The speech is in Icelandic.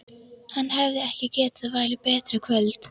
Hann hefði ekki getað valið betra kvöld.